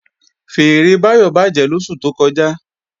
Fèèrè Báyọ̀ bàjẹ́ lóṣù tó kọjá